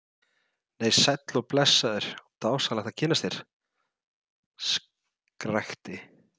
Nei, sæll og blessaður og dásamlegt að kynnast þér, skrækti